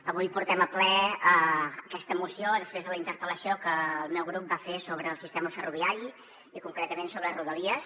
avui portem al ple aquesta moció després de la interpel·lació que el meu grup va fer sobre el sistema ferroviari i concretament sobre rodalies